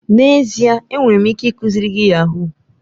N'ezie! Enwere m ike ikuziri gị yahuu.